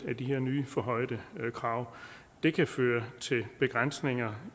af de her nye forhøjede krav det kan føre til begrænsninger